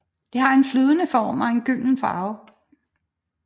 Det har en flydende form og en gylden farve